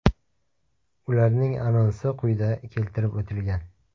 Ularning anonsi quyida keltirib o‘tilgan.